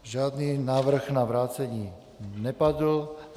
Žádný návrh na vrácení nepadl.